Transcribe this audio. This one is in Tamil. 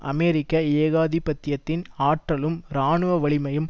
அமெரிக்க ஏகாதிபத்தியத்தின் ஆற்றலும் இராணுவ வலிமையும்